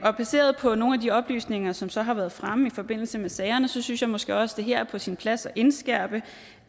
og baseret på nogle af de oplysninger som så har været fremme i forbindelse med sagerne synes jeg måske også det her er på sin plads at indskærpe